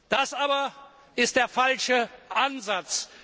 Das aber ist der falsche Ansatz.